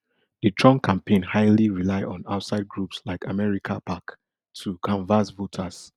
di trump campaign highly rely on outside groups like americapac to canvas voters